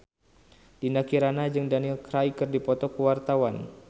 Dinda Kirana jeung Daniel Craig keur dipoto ku wartawan